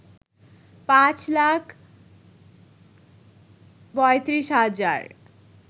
৫ লাখ ৩৫ হাজার